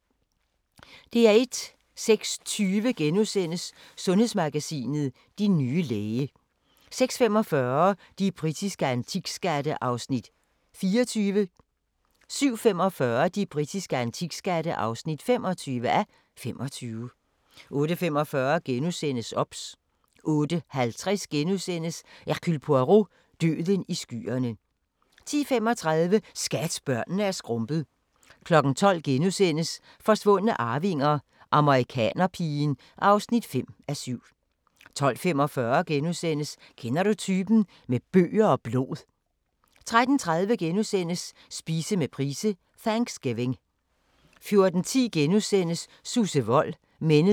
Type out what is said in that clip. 06:20: Sundhedsmagasinet: Din nye læge * 06:45: De britiske antikskatte (24:25) 07:45: De britiske antikskatte (25:25) 08:45: OBS * 08:50: Hercule Poirot: Døden i skyerne * 10:35: Skat, børnene er skrumpet 12:00: Forsvundne arvinger: Amerikanerpigen (5:7)* 12:45: Kender du typen? – Med bøger og blod * 13:30: Spise med Price: Thanksgiving * 14:10: Susse Wold – Mennesket bag ikonet *